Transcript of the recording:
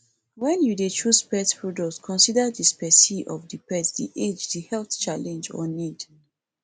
when you dey choose pet product consider di specie of di pet di age and di health challenge or need